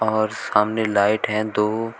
और सामने लाइट है दो।